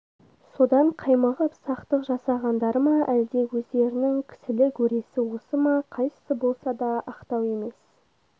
содан қаймығып сақтық жасағандары ма әлде өздерінің кісілік өресі осы ма қайсысы болса да ақтау емес